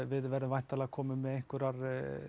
við verðum væntanlega komin með einhverjar